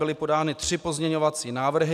Byly podány tři pozměňovací návrhy.